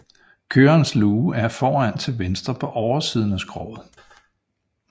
Kørerens luge er foran til venstre på oversiden af skroget